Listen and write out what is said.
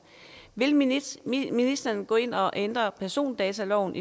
vil ministeren ministeren gå ind og ændre persondataloven